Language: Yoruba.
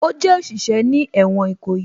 Ó jẹ́ òṣìṣẹ́ ní ẹ̀wọ̀n Ìkòyí